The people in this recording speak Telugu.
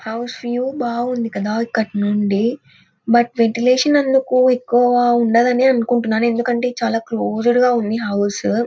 హౌస్ వ్యూ బాగుంది కదా ఇక్కటినుండి బట్ వెంటిలేషన్ ఏందుకు ఎక్కువ ఉండదనే అనుకుంటున్నాను. ఎందుకంటేయ్ ఇది చాల క్లోస్డ్ గా ఉంది హౌస్ .